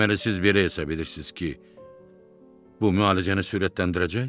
Deməli siz bilirsiniz ki, bu müalicəni sürətləndirəcək?